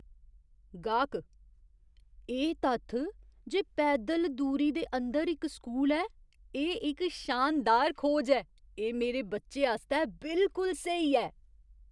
गाह्कः "एह् तत्थ जे पैदल दूरी दे अंदर इक स्कूल ऐ, एह् इक शानदार खोज ऐ। एह् मेरे बच्चे आस्तै बिलकुल स्हेई ऐ।